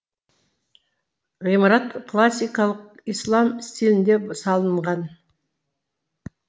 ғимарат классикалық ислам стилінде салынған